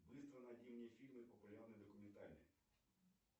быстро найди мне фильмы популярные документальные